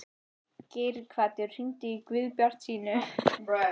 Geirhvatur, hringdu í Guðbjartsínu.